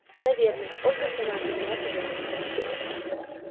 наверное ольга сама виновата в этом